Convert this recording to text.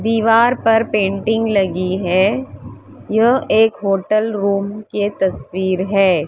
दीवार पर पेंटिंग लगी है यह एक होटल रूम के तस्वीर है।